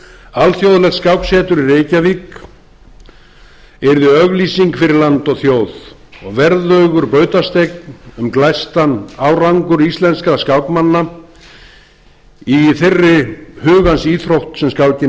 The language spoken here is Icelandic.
alþjóðlegt skáksetur í reykjavík yrði auglýsing fyrir land og þjóð og verðugur bautasteinn um glæstan árangur íslenskra skákmanna í þeirri hugans íþrótt sem skákin